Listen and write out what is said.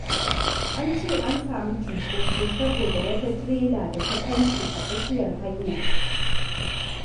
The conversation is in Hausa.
An ce an samu cunkoso saboda wata tirela da ta kwance a tsakiyar hanya.